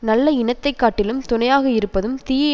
நல்ல இனத்தை காட்டிலும் துணையாக இருப்பதும் தீய